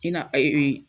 I na ee